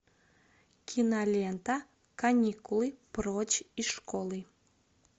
кинолента каникулы прочь из школы